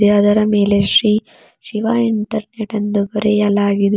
ಅದರ ಮೇಲೆ ಶ್ರೀ ಶಿವ ಇಂಟರ್ನೆಟ್ ಎಂದು ಬರೆಯಲಾಗಿದೆ.